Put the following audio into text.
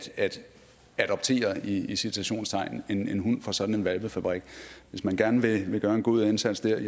adoptere i citationstegn en en hund fra sådan en hvalpefabrik hvis man gerne vil gøre en god indsats der